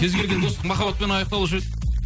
кез келген достық махаббатпен аяқталушы еді